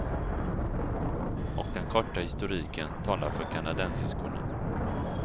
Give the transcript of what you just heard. Och den korta historiken talar för kanadensiskorna.